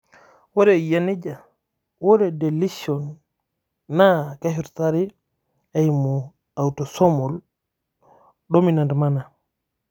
ore iyia nejia, ore deletion naa keshurtari eeimu autosomol dominant manner.